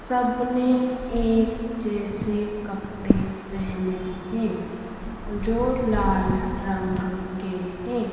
सबने एक जैसे कपड़े पेहने हैं जो लाल रंग के हैं।